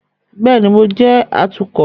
Bẹẹni, Mo jẹ atukọ